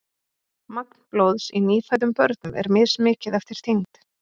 magn blóðs í nýfæddum börnum er mismikið eftir þyngd